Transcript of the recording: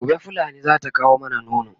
gobe fulani zata kawo mana nono